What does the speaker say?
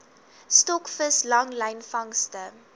stokvis langlyn vangste